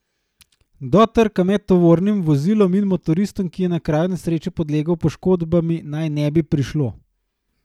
Do trka med tovornim vozilom in motoristom, ki je na kraju nesreče podlegel poškodbam, naj ne bi prišlo.